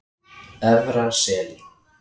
Efra Seli